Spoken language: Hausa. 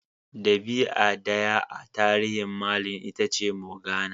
Dabi'a daya a tarihin Merlin Itace Morgana.